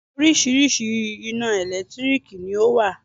Oríṣiríṣi ina ẹ̀lẹ́tírìkì ni ọ wá.